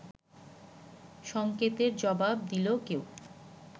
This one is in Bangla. সংকেতের জবাব দিল কেউ